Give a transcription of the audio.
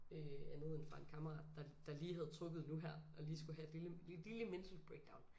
Øh andet end fra en kammerat der der lige havde trukket nu her og lige skulle have et lille et lille mental breakdown